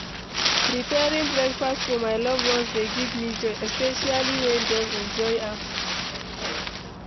Preparing breakfast for my loved ones dey give me joy, especially when dem enjoy am.